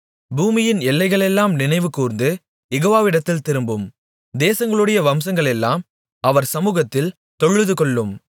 பூமியின் எல்லைகளெல்லாம் நினைவுகூர்ந்து யெகோவாவிடத்தில் திரும்பும் தேசங்களுடைய வம்சங்களெல்லாம் அவர் சமுகத்தில் தொழுதுகொள்ளும்